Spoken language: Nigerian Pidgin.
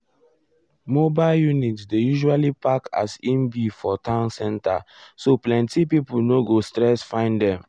mobile units dey usually park as e be for town center so plenty pipo no go stress find them.